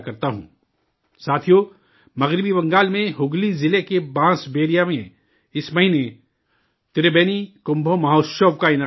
ساتھیو، مغربی بنگال میں ہگلی ضلع کے بانس بیریا میں اس مہینہ 'تربینی کمبھو مہوتشو' کا اہتمام کیا گیا